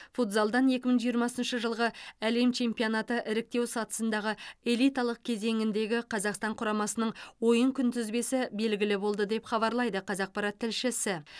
футзалдан екі мың жиырмасыншы жылғы әлем чемпионаты іріктеу сатысындағы элиталық кезеңіндегі қазақстан құрамасының ойын күнтізбесі белгілі болды деп хабарлайды қазақпарат тілшісі